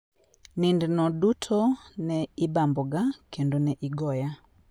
Nindno duto ne ibamboga kendo ne igoya.